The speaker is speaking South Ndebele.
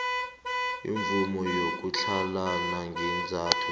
imvumo yokutlhalana ngeenzathu